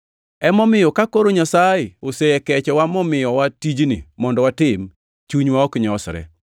Emomiyo, ka koro Nyasaye osekechowa momiyowa tijni mondo watim, chunywa ok nyosre.